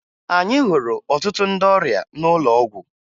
Anyị hụrụ ọtụtụ ndị ọrịa n'ụlọ ọgwụ